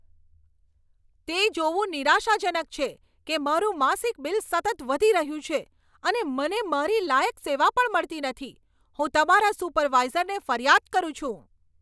તે જોવું નિરાશાજનક છે કે મારું માસિક બિલ સતત વધી રહ્યું છે અને મને મારી લાયક સેવા પણ મળતી નથી. હું તમારા સુપરવાઈઝરને ફરિયાદ કરું છું.